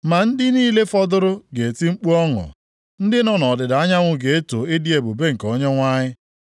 Ma ndị niile fọdụrụ ga-eti mkpu ọṅụ; ndị nọ nʼọdịda anyanwụ ga-eto ịdị ebube nke Onyenwe anyị.